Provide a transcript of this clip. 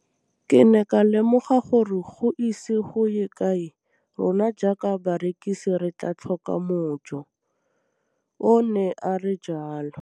Ke ne ka lemoga gore go ise go ye kae rona jaaka barekise re tla tlhoka mojo, o ne a re jalo.